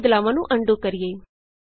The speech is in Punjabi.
ਆਉ ਬਦਲਾਵਾਂ ਨੂੰ ਅਨਡੂ ਕਰੀਏ